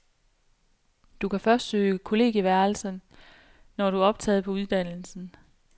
Du kan først søge kollegieværelse, når du er optaget på uddannelsen.